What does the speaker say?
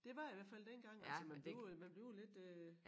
Det var jeg hvert fald dengang altså man bliver man bliver jo lidt øh